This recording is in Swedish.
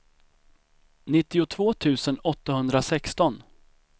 nittiotvå tusen åttahundrasexton